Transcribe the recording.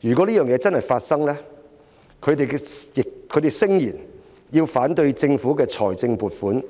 如果這個情況成真，他們聲言要反對政府的財政預算